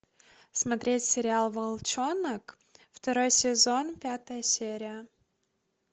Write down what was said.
смотреть сериал волчонок второй сезон пятая серия